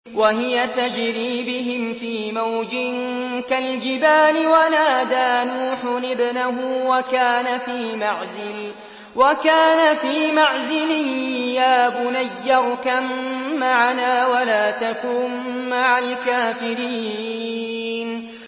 وَهِيَ تَجْرِي بِهِمْ فِي مَوْجٍ كَالْجِبَالِ وَنَادَىٰ نُوحٌ ابْنَهُ وَكَانَ فِي مَعْزِلٍ يَا بُنَيَّ ارْكَب مَّعَنَا وَلَا تَكُن مَّعَ الْكَافِرِينَ